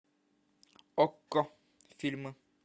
окко фильмы